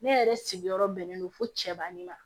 Ne yɛrɛ sigiyɔrɔ bɛnnen do fo cɛba ni ma